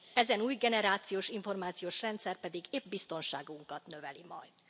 Ezen új generációs információs rendszer pedig épp biztonságunkat növeli majd.